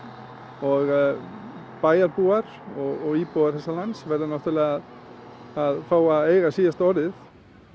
og bæjarbúar og íbúar þessa lands verða náttúrulega að fá að eiga síðasta orðið við